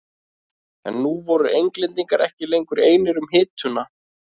En nú voru Englendingar ekki lengur einir um hituna.